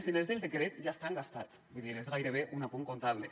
els diners del decret ja estan gastats vull dir és gairebé un apunt comptable